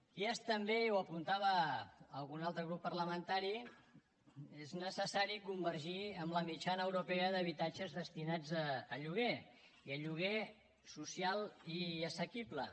i és també i ho apuntava algun altre grup parlamentari és necessari convergir amb la mitjana europea d’habitatges destinats a lloguer i a lloguer social i assequible